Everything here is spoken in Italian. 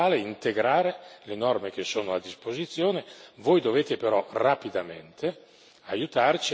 Voi dovete però rapidamente aiutarci a dare compiutezza al lavoro che stiamo facendo.